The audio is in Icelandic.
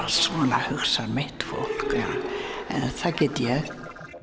svona hugsar mitt fólk en það get ég